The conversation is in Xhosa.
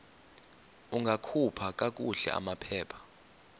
ungakhupha kakuhle amaphepha